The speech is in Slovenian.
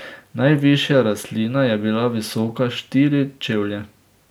Najvišja rastlina je bila visoka štiri čevlje.